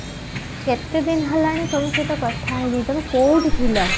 କେତେ ଦିନ ହେଲାଣି ତମ ସହିତ କଥା ହେଇନି ତମେ କଉଠି ଥିଲ